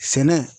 Sɛnɛ